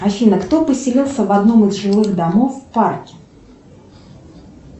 афина кто поселился в одном из жилых домов в парке